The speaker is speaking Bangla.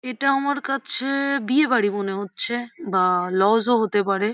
এটা আমার কাছে-এ বিয়ে বাড়ি মনে হচ্ছে বা লজ -ও হতে পারে।